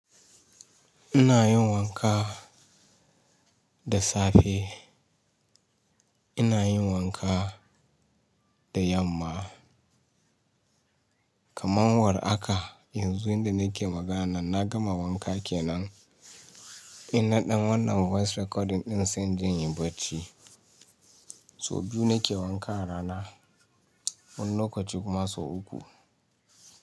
Ina yin wanka da safe, ina yin wanka da yamma. Kaman war aka yanzu yanda nake magana nan na gama wanka kenan. In naɗan wannan voice recording ɗin sai in je in yi bacci. Sau biyu nake wanka a rana. Wani lokaci kuma sau uku.